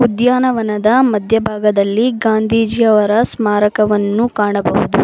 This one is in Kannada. ಉದ್ಯಾನವನದ ಮಧ್ಯಭಾಗದಲ್ಲಿ ಗಾಂಧೀಜಿಯವರ ಸ್ಮಾರಕವನ್ನು ಕಾಣಬಹುದು.